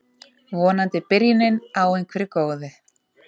Vonandi byrjunin á einhverju góðu